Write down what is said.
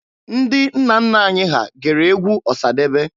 Ndị nna nna anyị ha gere egwu Ọsadebe.